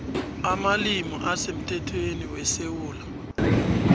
amalimi asemthethweni wesewula